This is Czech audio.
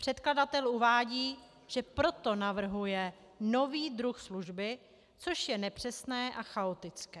Předkladatel uvádí, že proto navrhuje nový druh služby, což je nepřesné a chaotické.